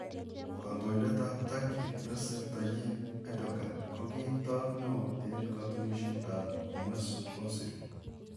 Kandoindet ab turkey, recep tayyip erdogan ko ki toot neo eng katunishet ab Mesut ozil.